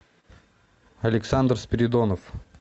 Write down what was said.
александр спиридонов